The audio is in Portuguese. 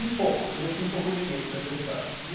Um pouco, porque eu tinha um pouco de medo dessa história.